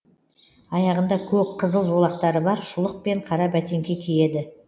аяғында көк қызыл жолақтары бар шұлық пен қара бәтеңке киеді